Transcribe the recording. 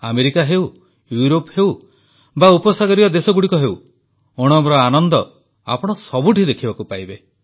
America ହେଉ Europe ହେଉ ବା ଉପସାଗରୀୟ ଦେଶଗୁଡ଼ିକ ହେଉ ଓଣମର ଆନନ୍ଦ ଆପଣ ସବୁଠି ଦେଖିବାକୁ ପାଇବେ